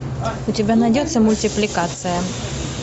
у тебя найдется мультипликация